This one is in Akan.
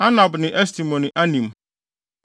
Anab ne Estemo ne Anim,